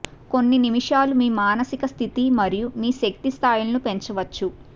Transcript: కొన్ని నిమిషాలు మీ మానసిక స్థితి మరియు మీ శక్తి స్థాయిలను పెంచవచ్చు